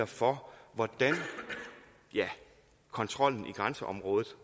for hvordan kontrollen i grænseområdet